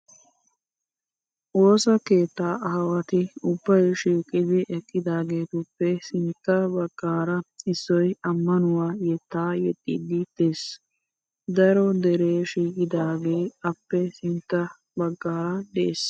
Woosa keettaa aawati ubbayi shiiqidi eqqidaagetuppe sintta baggaara issoyi ammanuwaa yettaa yeexxiiddi des. Daro deree shiiqidaagee appe sintta baggaara des.